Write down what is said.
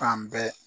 Fan bɛɛ